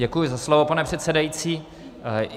Děkuji za slovo, pane předsedající.